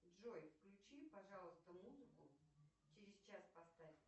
джой включи пожалуйста музыку через час поставь